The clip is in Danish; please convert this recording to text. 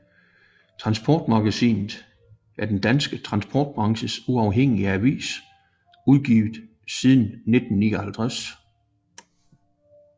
Transportmagasinet er den danske transportbranches uafhængige avis udgivet siden 1959